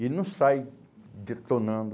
Ele não sai detonando.